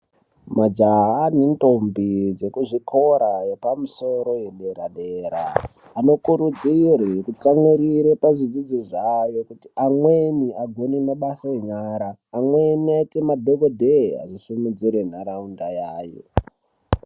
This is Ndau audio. Majaha nendombi dzekuzvikora zvepamusoro zvepadera dera vanokurudzirwa kutsamwirire pazvidzidzo zvavo kuti amweni agone mabasa yenyara. Amweni aite madhokodheya asimudzire nharaunda yavo.